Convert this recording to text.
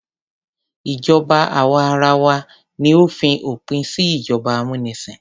Ìjọba àwa arawa ni ó fi òpin sí ìjọba amúnisìn.